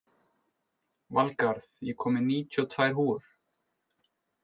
Valgarð, ég kom með níutíu og tvær húfur!